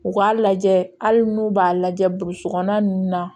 U k'a lajɛ hali n'u b'a lajɛ burusikɔnɔna ninnu na